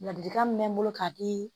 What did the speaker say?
Ladilikan min mɛ n bolo ka di